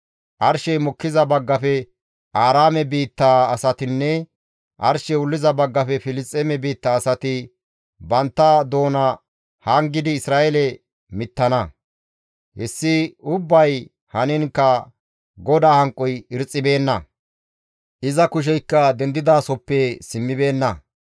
Arshey mokkiza baggafe Aaraame biittaa asatinne arshey wulliza baggafe Filisxeeme biitta asati bantta doona hangidi Isra7eele mittana. Hessi ubbay haniinkka GODAA hanqoy irxxibeenna; iza kusheykka dendidasoppe simmibeenna.